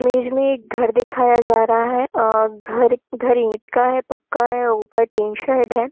Image में एक घर दिखाया जा रहा है अ-अ घर-घर ईट का है पक्का है ऊपर टीन शेड है।